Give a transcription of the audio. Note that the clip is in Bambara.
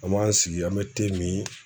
An b'an sigi an bɛ min